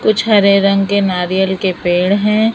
कुछ हरे रंग के नारियल के पेड़ हैं।